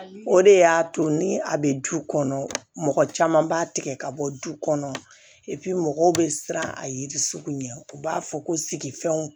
O de y'a to ni a bɛ du kɔnɔ mɔgɔ caman b'a tigɛ ka bɔ du kɔnɔ mɔgɔw bɛ siran a yiri sugu ɲɛ u b'a fɔ ko sigifɛnw